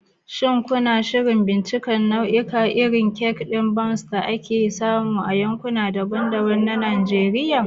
Shin kuna shirin bincika nau'ikan irin kek ɗin Bounce da ake samu a yankuna daban-daban na Najeriya?